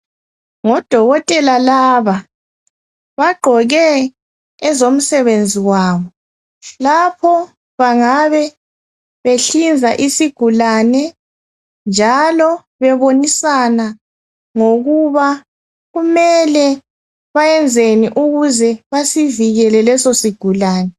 Ngodokotela laba. Bagqoke ezomsebenzi wabo. Lapho bangabe behlinza isigulane njalo bebonisana ngokuba kumele bayenzeni ukuze basivikele leso sigulane.